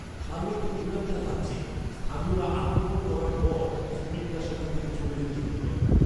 তার মধ্যে কোনও একটা রাজ্যে, স্থানীয়রা আক্রমণ করার পর শ্রমিকরা সেখান থেকে চলে যেতে শুরু করে।